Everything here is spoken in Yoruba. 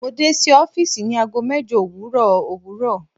Mo de si ọfiisi ni aago mẹjọ owurọ owurọ